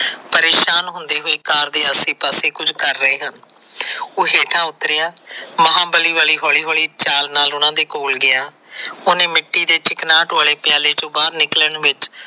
ਪਰੇਸ਼ਾਨ ਹੁਸ਼ਦੇ ਹੋਏ ਕਾਰ ਦੇ ਆਸੇ ਪਾਸੇ ਕੁਝ ਕਰ ਰਹੇ ਆ। ਉਹ ਹੇਠਾਂ ੳਤਰਿਆਂ ਮਹਾਂਬਲੀ ਵਾਲੀ ਹੌਲੀ ਹੌਲੀ ਚਾਲ ਨਾਲ ਉਹਨਾਂ ਕੋਵ ਗਿਆਂ। ਉਹਨੇ ਮਿੱਟੀ ਦੇ ਚਿਕਨਾਟ ਵਾਲੇ ਪਿਆਲੇ ਵਿਚੋ ਨਿਕਲਣ ਵਿਚ।